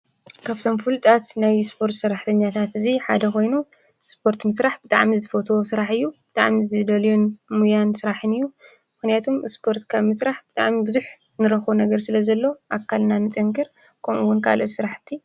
ካብቶም ፍሉጣት ናይ ስፖርት ሰራሕተኛታት እዚ ሓደ ኮይኑ ስፖርት ምስራሕ ብጣዕሚ ዝፈትዎ ስራሕ እዩ። ብጣዕሚ ዝደልዮን ሞያን ስራሕን እዩ። ምክንያቱ ስፖርት ካብ ምስራሕ ብጣዕሚ ብዙሕ ንረክቦ ነገር ስለ ዘሎ አካልና ንጥንክር ከምኡ እውን ካልኦት ስራሕቲ።